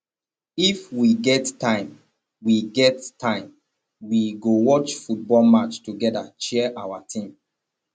if we get time we get time we go watch football match togeda cheer our team